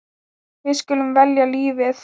Við skulum velja lífið.